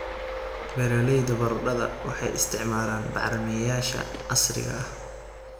Beeralayda baradhada waxay isticmaalaan bacrimiyeyaasha casriga ah.